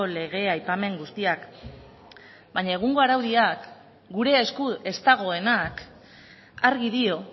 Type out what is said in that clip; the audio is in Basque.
lege aipamen guztiak baina egungo araudiak gure esku ez dagoenak argi dio